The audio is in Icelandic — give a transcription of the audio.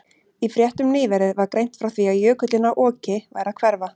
Í fréttum nýverið var greint frá því að jökullinn á Oki væri að hverfa.